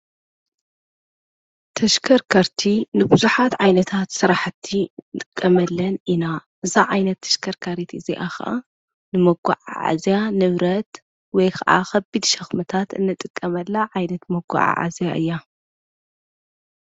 ተሽከርከርቲ ንብዙሓት ዓይነታት ስራሕቲ ንጥቀመለን ኢና። እዛ ዓይነት ተሽከርካሪት እዚኣ'ከ ንመጓዓዓዚያ ንብረት ወይ ከዓ ከቢድ ሸኽምታት እንጥቀመላ ዓይነት መጓዓ ዓዝያ እያ።